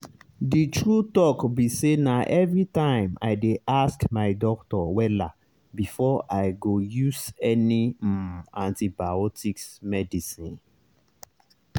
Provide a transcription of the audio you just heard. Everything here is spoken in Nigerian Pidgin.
the truth be sayna everytime i dey ask my doctor wella before i go use any um antibiotics medicine.